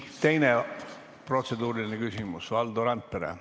Teine protseduuriline küsimus, Valdo Randpere.